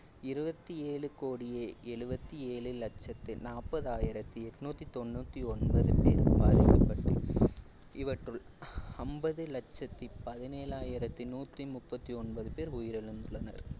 இருபத்தி ஏழு கோடியே எழுபத்தி ஏழு லட்சத்து நாற்பதாயிரத்தி எட்நூத்தி தொண்ணூத்தி ஒன்பது பேர் பாதிக்கப்பட்டு இவற்றுள் அம்பது லட்சத்தி பதினேழாயிரத்தி நூத்தி முப்பத்தி ஒன்பது உயிரிழந்துள்ளனர்